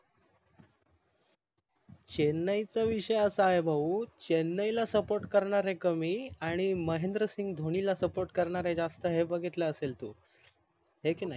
चेन्नई चा विषय असा आहे भाऊ चेन्नई ला SUPPORT करणारे कमी आणि महेंद्र सिंघ धोनी ला SUPPORT करणारे जास्त हे बघितला असेल तू हाय की नाही